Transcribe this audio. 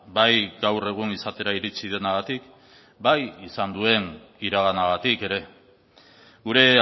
bai gaur egun izatera iritsi denagatik bai izan duen iraganagatik ere gure